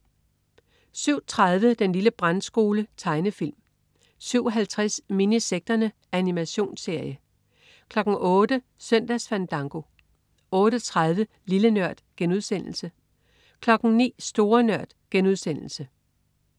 07.30 Den lille brandskole. Tegnefilm 07.50 Minisekterne. Animationsserie 08.00 Søndagsfandango 08.30 Lille Nørd* 09.00 Store Nørd*